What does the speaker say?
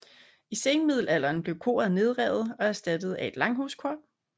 I senmiddelalderen blev koret nedrevet og erstattet af et langhuskor